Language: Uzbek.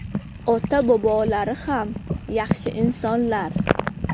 Ota-bobolari ham yaxshi insonlar.